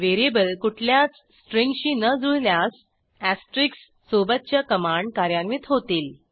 VARIABLEकुठल्याच स्ट्रिंगशी न जुळल्यास एस्टेरिस्क सोबतच्या कमांड कार्यान्वित होतील